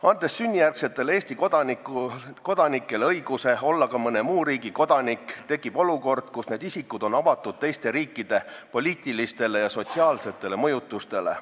Andes sünnijärgsetele Eesti kodanikele õiguse olla ka mõne muu riigi kodanik, tekib olukord, kus need isikud on avatud teiste riikide poliitilistele ja sotsiaalsetele mõjutustele.